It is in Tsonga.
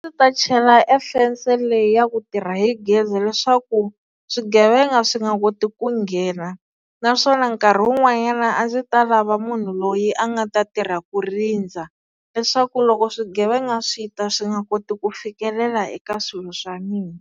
Ndzi ta chela e fensi leyi ya ku tirha hi gezi leswaku swigevenga swi nga koti ku nghena naswona nkarhi wun'wanyana a ndzi ta lava munhu loyi a nga ta tirha ku rindza leswaku loko swigevenga swi ta swi nga koti ku fikelela eka swilo swa mina.